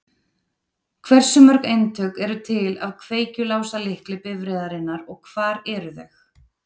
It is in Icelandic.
Hversu mörg eintök eru til af kveikjuláslykli bifreiðarinnar og hvar eru þau?